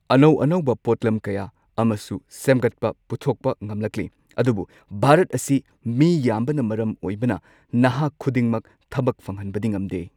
ꯑꯅꯧ ꯑꯅꯧꯕ ꯄꯣꯠꯂꯝ ꯀꯌꯥ ꯑꯃꯁꯨ ꯁꯦꯝꯒꯠꯄ ꯄꯨꯊꯣꯛꯄ ꯉꯝꯂꯛꯂꯤ ꯑꯗꯨꯕꯨ ꯚꯥꯔꯠ ꯑꯁꯤ ꯃꯤ ꯌꯥꯝꯕꯅ ꯃꯔꯝ ꯑꯣꯏꯕꯅ ꯅꯍꯥ ꯈꯨꯗꯤꯡꯃꯛ ꯊꯕꯛ ꯐꯪꯍꯟꯕꯗꯤ ꯉꯝꯗꯦ